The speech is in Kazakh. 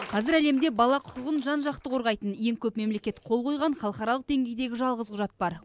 қазір әлемде бала құқығын жан жақты қорғайтын ең көп мемлекет қол қойған халықаралық деңгейдегі жалғыз құжат бар